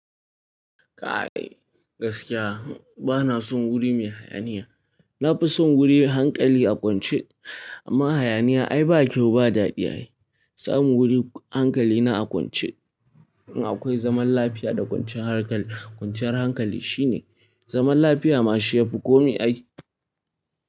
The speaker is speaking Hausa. Kai gaskiya bana son guri mai hayaniya. Na fi son guri hankali a kwance amma hayaniya ai ba kyau ba dadi. Samu guri hankali na a kwance akwai zaman lafiya da kwanciyar hankali shine zaman lafiya ma shi ya fi komi ay.